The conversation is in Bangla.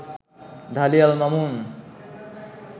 ঢালী আল মামুন